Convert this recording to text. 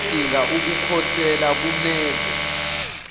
odinga ukukhosela kumele